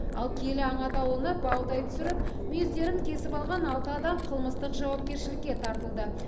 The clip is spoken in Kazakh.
ал киелі аң атаулыны баудай түсіріп мүйіздерін кесіп алған алты адам қылмыстық жауапкершілікке тартылды